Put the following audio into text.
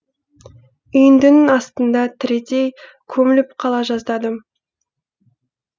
үйіндінің астында тірідей көміліп қала жаздадым